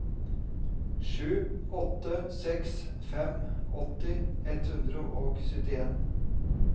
sju åtte seks fem åtti ett hundre og syttien